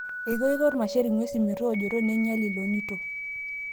Ekeiko irmasher ng'wesin metoojoto neinyial ilonito.